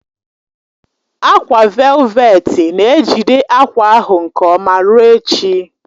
Ákwà velveti na-ejide akwa ahụ nke ọma ruo echi